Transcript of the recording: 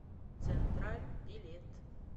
централь билет